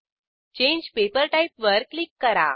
change paper type वर click करा